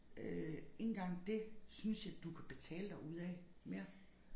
Øh ikke engang det synes jeg du kan betale dig ud af mere